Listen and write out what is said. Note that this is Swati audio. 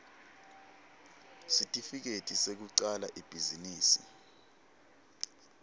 sitifiketi sekucala ibhizinisi